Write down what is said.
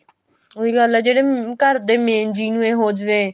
ਉਹੀ ਗੱਲ ਆ ਜਿਹੜੇ ਘਰਦੇ main ਜੀਅ ਨੂੰ ਹੀ ਹੋ ਜਾਵੇ